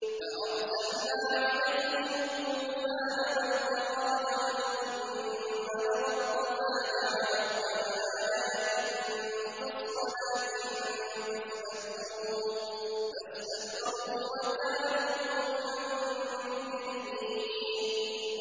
فَأَرْسَلْنَا عَلَيْهِمُ الطُّوفَانَ وَالْجَرَادَ وَالْقُمَّلَ وَالضَّفَادِعَ وَالدَّمَ آيَاتٍ مُّفَصَّلَاتٍ فَاسْتَكْبَرُوا وَكَانُوا قَوْمًا مُّجْرِمِينَ